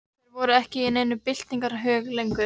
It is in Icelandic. Þeir voru ekki í neinum byltingarhug lengur.